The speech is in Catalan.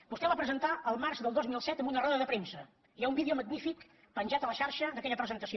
vostè el va presentar el març del dos mil set en una roda de premsa hi ha un vídeo magnífic penjat a la xarxa d’aquella presentació